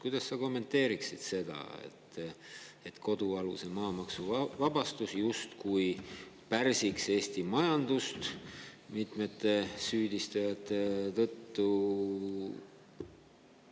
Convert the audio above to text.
Kuidas sa kommenteeriksid seda, et kodualuse maa maksuvabastus justkui pärsiks Eesti majandust mitmete süüdistajate?